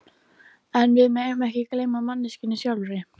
En við megum ekki gleyma manneskjunni sjálfri.